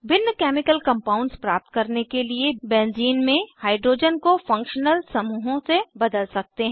भिन्न chemical compounds प्राप्त करने के लिए बेंजीन बेंज़ीन में हाइड्रोजन को फंक्शनल समूहों से बदल सकते हैं